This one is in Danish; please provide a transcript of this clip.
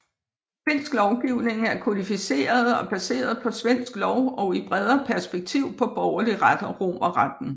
Finsk lovgivning er kodificeret og baseret på svensk lov og i bredere perspektiv på borgerlig ret og romerretten